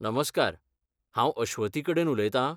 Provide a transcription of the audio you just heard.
नमस्कार, हांव अश्वथी कडेन उलयतां?